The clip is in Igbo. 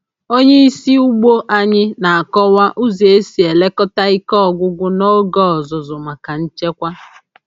Onye isi ugbo anyị na-akọwa ụzọ esi elekọta ike ọgwụgwụ n’oge ọzụzụ maka nchekwa.